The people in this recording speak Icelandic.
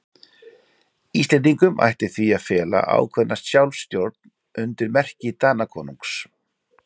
Íslendingum ætti því að fela ákveðna sjálfstjórn undir merki Danakonungs.